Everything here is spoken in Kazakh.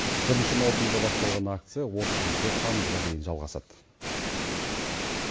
бірінші маусымда басталған акция отызыншы тамызға дейін жалғасады